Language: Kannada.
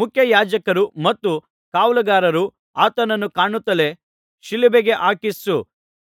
ಮುಖ್ಯಯಾಜಕರೂ ಮತ್ತು ಕಾವಲುಗಾರರು ಆತನನ್ನು ಕಾಣುತ್ತಲೇ ಶಿಲುಬೆಗೆ ಹಾಕಿಸು